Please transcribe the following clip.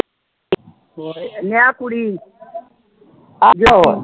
ਮੈਂ ਕੁੜੀ